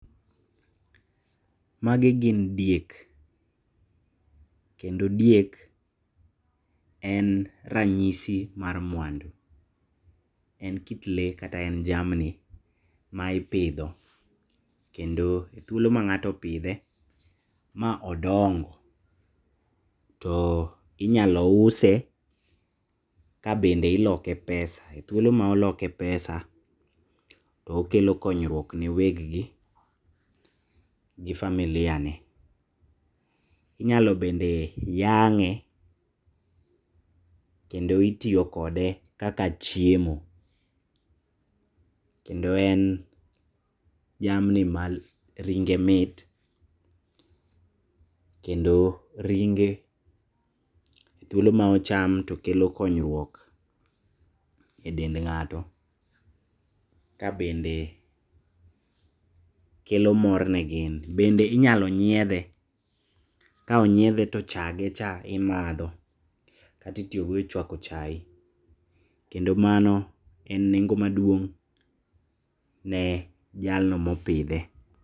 Magi gin diek, kendo diek en ranyisi mar mwandu. En kit lee kata en jamni maipidho kendo e thuolo mang'ato opidhe maodongo to inyalo use kabende iloke pesa. E thuolo maoloke pesa okelo konyruok na weg gi gi familiane. Inyalo bende yang'e, kendo itiyo kode kaka chiemo, kendo en jamni maringe mit, kendo ringe thuolo maocham tokelo konyruok e dend ng'ato, kabende kelo morne gin, bende inyalo nyiethe. Ka onyiethe to chage cha imadho kata itiyogo e chwako chai, kendo mano en nengo maduong' ne jalno mopidhe.